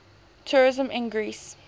tourism in greece